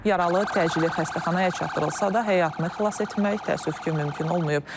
Yaralı təcili xəstəxanaya çatdırılsa da, həyatını xilas etmək təəssüf ki, mümkün olmayıb.